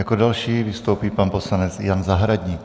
Jako další vystoupí pan poslanec Jan Zahradník.